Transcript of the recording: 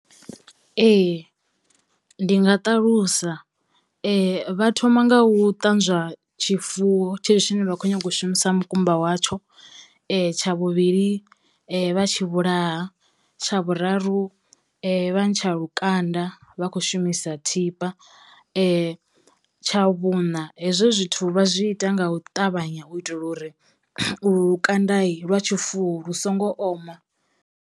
Ee ndi nga ṱalusa vha thoma nga u ṱanzwa tshifuwo tshetsho tshine vha khou nyaga u shumisa mukumba watsho, tsha vhuvhili vha tshi vhulaha, tsha vhuraru vha ntsha lukanda vha khou shumisa thipa, tsha vhuṋa hezwo zwithu vha zwi ita nga u ṱavhanya u itela uri lukandai lwa tshifuwo lu songo oma.